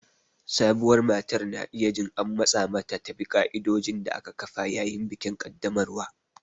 Sabuwar matar na iya jin an matsa mata ta bi ƙa'idodin da aka kafa yayin bikin ƙaddamarwa.